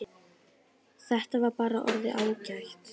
Þetta var bara orðið ágætt.